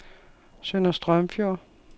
Sønder Strømfjord